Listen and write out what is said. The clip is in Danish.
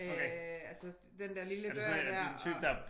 Øh altså den der lille dør dér og